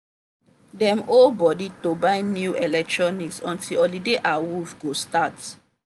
dem hold body to buy new electronics until holiday awooff go start.